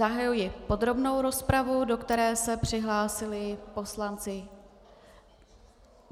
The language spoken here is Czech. Zahajuji podrobnou rozpravu, do které se přihlásili poslanci.